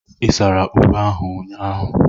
Ị sara uwe ahu ụnyaahụ?